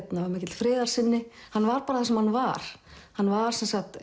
var mikill friðarsinni hann var bara það sem hann var hann var